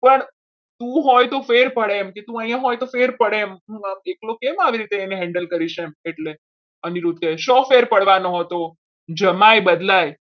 પણ તું હોય તો ફેર પડે એમ તું અહીંયા હોય તો ફેર પડે એમ એના બાપને હું એકલો કેવી રીતે handle કરીશ એમ અનિરુદ્ધ કહે શું ફેર પડવાનો હતો જમાઈ બદલાય.